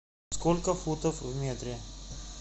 сколько футов в метре